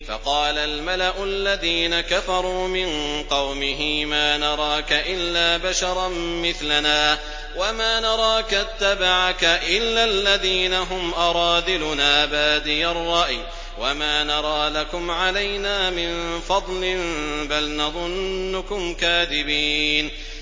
فَقَالَ الْمَلَأُ الَّذِينَ كَفَرُوا مِن قَوْمِهِ مَا نَرَاكَ إِلَّا بَشَرًا مِّثْلَنَا وَمَا نَرَاكَ اتَّبَعَكَ إِلَّا الَّذِينَ هُمْ أَرَاذِلُنَا بَادِيَ الرَّأْيِ وَمَا نَرَىٰ لَكُمْ عَلَيْنَا مِن فَضْلٍ بَلْ نَظُنُّكُمْ كَاذِبِينَ